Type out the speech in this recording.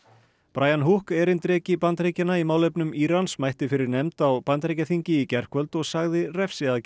brian Hook erindreki Bandaríkjanna í málefnum Írans mætti fyrir nefnd á Bandaríkjaþingi í gærkvöld og sagði refsiaðgerðir